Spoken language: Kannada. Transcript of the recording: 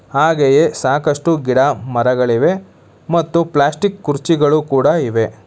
ಹಾಗೆಯೇ ಸಾಕಷ್ಟು ಗಿಡ ಮರಗಳಿವೆ ಮತ್ತು ಪ್ಲಾಸ್ಟಿಕ್ ಕುರ್ಚಿಗಳು ಕೂಡ ಇವೆ.